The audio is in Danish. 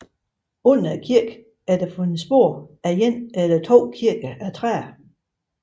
Under kirken er der fundet spor af en eller to kirker af træ